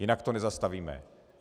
Jinak to nezastavíme.